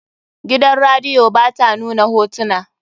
Gidan radiyo ba ta nuna hotuna.